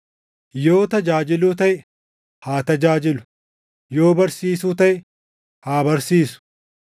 Yoo tajaajiluu taʼe, haa tajaajilu; yoo barsiisuu taʼe, haa barsiisu;